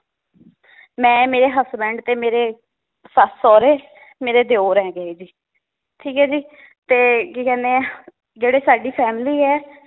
ਮੈ ਮੇਰੇ husband ਤੇ ਮੇਰੇ ਸੱਸ, ਸੌਹਰੇ ਮੇਰੇ ਦਿਓਰ ਹੈਗੇ ਏ ਜੀ ਠੀਕ ਏ ਜੀ ਤੇ ਕੀ ਕਹਿੰਨੇ ਆ, ਜਿਹੜੇ ਸਾਡੀ family ਏ